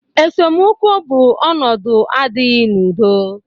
Esemokwu bụ ọnụdu adịghị n'udo.